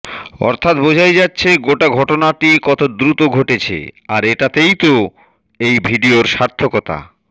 অর্থাৎ বোঝাই যাচ্ছে গোটা ঘটনাটি কত দ্রুত ঘটেছে আর এটাতেই তো এই ভিডিওর সার্থকতা